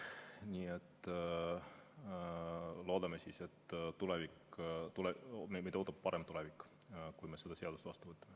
Nii et loodame, et meid ootab ees parem tulevik, kui me selle seaduse vastu võtame.